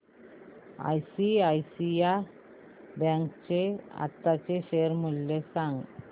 ICICI bank चे आताचे share मूल्य सांगा